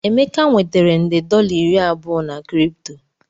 Emeka nwetara nde dollar iri abụọ na Kripto